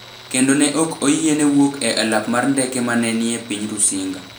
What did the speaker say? kendo ne ok oyiene wuok e alap mar ndeke ma ne ni e piny Rusinga.